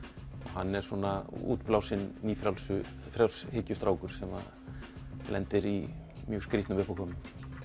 hann er svona útblásinn sem lendir í mjög skrítnum uppákomum